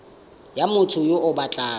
ya motho yo o batlang